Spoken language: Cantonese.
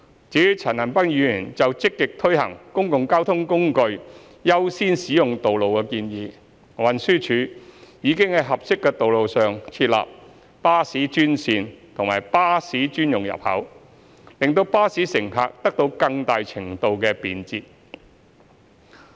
至於陳恒鑌議員就積極推行公共交通工具優先使用道路的建議，運輸署已在合適的道路上設立巴士專線和巴士專用入口，令巴士乘客得到更大程度的便捷。